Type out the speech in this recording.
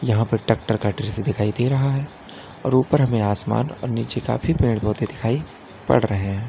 यहां पर टैक्टर दिखाई दे रहा है और ऊपर हमे आसमान और नीचे काफी पेड़ पौधे दिखाई पड़ रहे है।